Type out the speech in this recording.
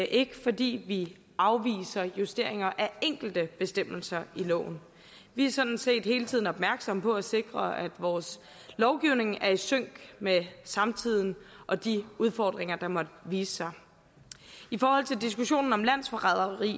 ikke fordi vi afviser justeringer af enkelte bestemmelser i loven vi er sådan set hele tiden opmærksomme på at sikre at vores lovgivning er i sync med samtiden og de udfordringer der måtte vise sig i forhold til diskussionen om landsforræderi